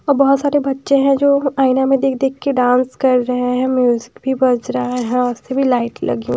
और बहुत सारे बच्चे हैं जो आइना में देख-देख के डांस कर रहे हैं म्यूज़िक भी बज रहा है और सभी लाइट लगी--